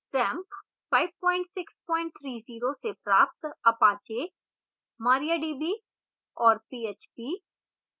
xampp 5630 से प्राप्त apache mariadb और php